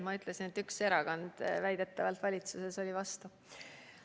Ma ütlesin, et väidetavalt üks erakond valitsuses oli vastu.